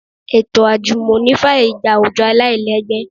Ètò àjùmọ̀ní fàyè gba àwùjọ aláìlẹ́gbẹ́